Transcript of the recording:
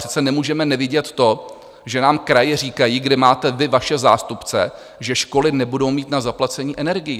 Přece nemůžeme nevidět to, že nám kraje říkají, kde máte vy vaše zástupce, že školy nebudou mít na zaplacení energií.